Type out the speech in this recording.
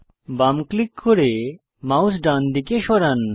বাম ক্লিক করে মাউস ডান দিকে সরান